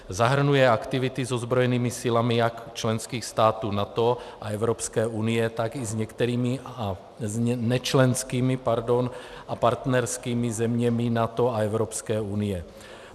Zahrnuje aktivity s ozbrojenými silami jak členských států NATO a Evropské unie, tak i s nečlenskými a partnerskými zeměmi NATO a Evropské unie.